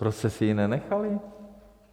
Proč jste si ji nenechali?